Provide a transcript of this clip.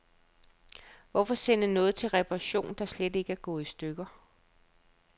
Hvorfor sende noget til reparation, der slet ikke er gået i stykker.